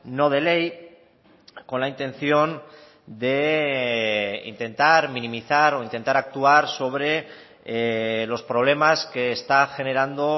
no de ley con la intención de intentar minimizar o intentar actuar sobre los problemas que está generando